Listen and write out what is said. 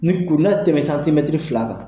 Ni kuru n'a tɛmɛ fila kan.